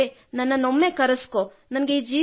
ಹೇ ದೇವರೆ ನನ್ನನ್ನು ಕರೆಸಿಕೊ